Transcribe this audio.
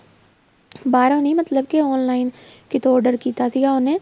ਬਾਹਰੋ ਨਹੀਂ ਮਤਲਬ online ਕਿੱਥੋ order ਕੀਤਾ ਸੀਗਾ ਉਹਨੇ